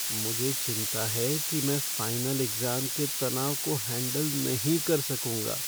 मुझे चिंता है कि मैं फ़ाइनल एक्ज़ाम के तनाव को हैंडल नहीं कर सकूंगा।